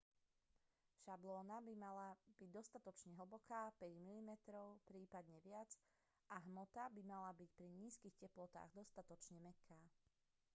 šablóna by mala byť dostatočne hlboká 5 mm prípadne viac a hmota by mala byť pri nízkych teplotách dostatočne mäkká